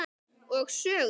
Og sögur.